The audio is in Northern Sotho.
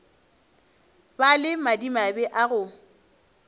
ba le madimabe a go